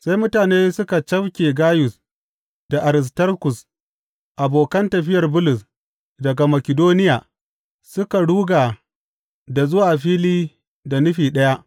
Sai mutane suka cafke Gayus da Aristarkus, abokan tafiyar Bulus daga Makidoniya, suka ruga da zuwa fili da nufi ɗaya.